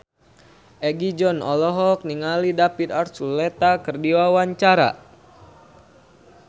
Egi John olohok ningali David Archuletta keur diwawancara